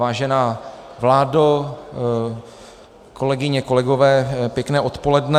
Vážená vládo, kolegyně, kolegové, pěkné odpoledne.